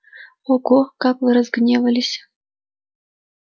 ого как вы разгневались